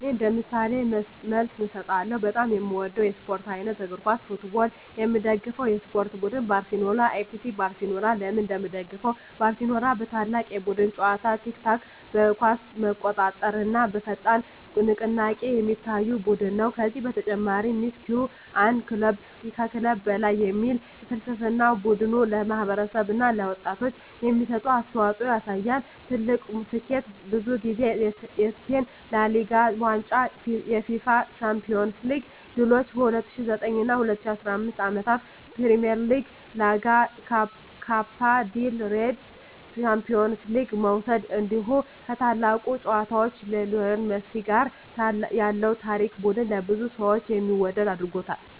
እኔ እንደ ምሳሌ መልስ እሰጣለሁ፦ በጣም የምወደው የስፖርት አይነት: እግር ኳስ (Football) የምደግፈው የስፖርት ቡድን: ባርሴሎና (FC Barcelona) ለምን እንደምደግፈው: ባርሴሎና በታላቅ የቡድን ጨዋታ (tiki-taka)፣ በኳስ መቆጣጠር እና በፈጣን ንቅናቄ የሚታወቅ ቡድን ነው። ከዚህ በተጨማሪ “Mes que un club” (ከክለብ በላይ) የሚል ፍልስፍናው ቡድኑ ለማህበረሰብ እና ለወጣቶች የሚሰጠውን አስተዋፅኦ ያሳያል። ትልቁ ስኬቱ: ብዙ ጊዜ የስፔን ላ ሊጋ ዋንጫ የUEFA ቻምፒዮንስ ሊግ ድሎች በ2009 እና 2015 ዓመታት “ትሪፕል” (ላ ሊጋ፣ ኮፓ ዴል ሬይ፣ ቻምፒዮንስ ሊግ) መውሰድ እንዲሁ ከታላቁ ተጫዋች ሊዮኔል ሜሲ ጋር ያለው ታሪክ ቡድኑን ለብዙ ሰዎች የሚወደድ አድርጎታል።